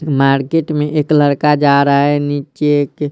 market में एक लड़का जा रहा हैनीचे के--